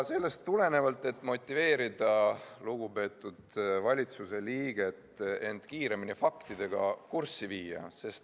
Sellest tulenevalt soovime motiveerida lugupeetud valitsuse liiget end kiiremini faktidega kurssi viima.